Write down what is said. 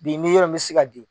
Bi n'i yɔrɔ in mi se ka di